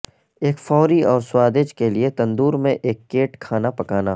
ایک فوری اور سوادج کے لئے تندور میں ایک کیٹ کھانا پکانا